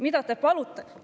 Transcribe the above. Mida te palute?